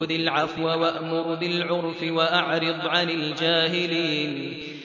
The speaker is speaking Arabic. خُذِ الْعَفْوَ وَأْمُرْ بِالْعُرْفِ وَأَعْرِضْ عَنِ الْجَاهِلِينَ